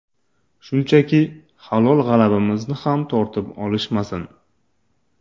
Shunchaki, halol g‘alabamizni ham tortib olishmasin.